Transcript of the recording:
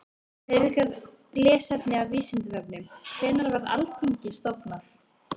Frekara lesefni á Vísindavefnum: Hvenær var Alþingi stofnað?